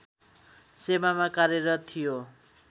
सेवामा कार्यरत थियो